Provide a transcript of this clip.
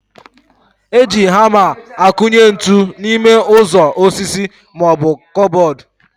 Eji hama akụnye ntụ n'ime ụzọ osisi maọbụ kụbọd